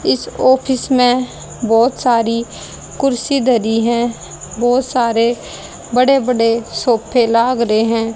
इस ऑफिस में बहुत सारी कुर्सी धरी हैं बहुत सारे बड़े बड़े सोफे लाग रहे हैं।